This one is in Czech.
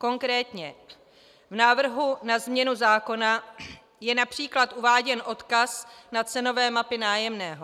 Konkrétně v návrhu na změnu zákona je například uváděn odkaz na cenové mapy nájemného.